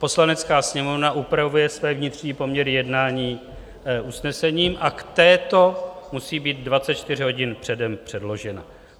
Poslanecká sněmovna upravuje své vnitřní poměry jednání usnesením, a k této musí být 24 hodin předem předloženo.